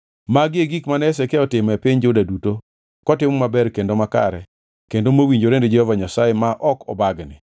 Magi e gik mane Hezekia otimo e piny Juda duto kotimo maber kendo makare kendo mowinjore ni Jehova Nyasaye ma ok obagni.